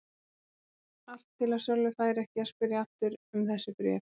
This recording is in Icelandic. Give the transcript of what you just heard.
Allt til að Sölvi færi ekki að spyrja aftur um þessi bréf.